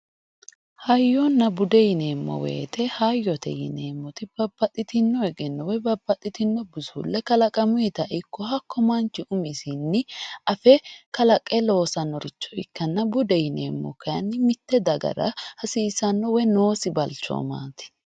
hayyonna bude yineemmo woyte hayyote yineemmoti babbaxxitino egenno woy babbaxxitino busulle kalaqamuyita ikko hakkuy manchu umisi afe kalaqe loosannore ikkanna, bude yineemmohu kayiinni mitte dagara hasiisannosiho woy noosi balchoomaati.